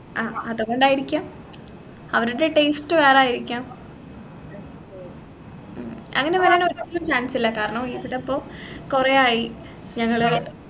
ആഹ് അതുകൊണ്ടായിരിക്കാം അവരുടെ taste വേറെ ആയിരിക്കാം ഉം അങ്ങനെ വരാൻ ഒരു chance ഇല്ല കാരണം ഇവിടിപ്പോ കൊറേ ആയി ഞങ്ങള്